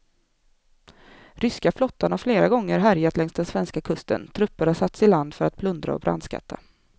Ryska flottan har flera gånger härjat längs den svenska kusten, trupper har satts i land för att plundra och brandskatta.